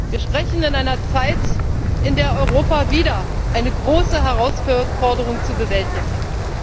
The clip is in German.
Wir sprechen in einer Zeit, in der Europa wieder eine große Herausforderung zu bewältigen hat.